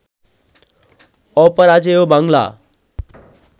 Aparajeyo Bangla